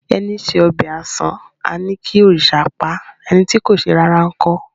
Ẹní se ọbẹ̀ àṣán, a ní kí òrìṣà paá; ẹni tí kò ṣe rárá ńkọ́?